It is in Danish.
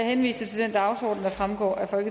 henvises